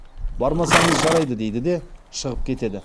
бармасаңыз жарайды дейді де шығып кетеді